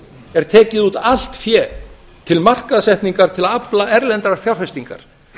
er tekið út allt fé til markaðssetningar til að afla erlendrar fjárfestingar